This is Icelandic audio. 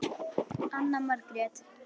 Anna Margrét